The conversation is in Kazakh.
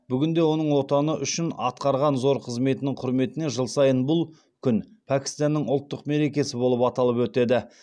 бүгінде оның отаны үшін атқарған зор қызметінің құрметіне жыл сайы бұл күн пәкістанның ұлттық мерекесі болып аталып өтеді